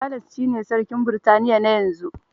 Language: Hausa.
Charles ne sarkin Britaniya na yanzu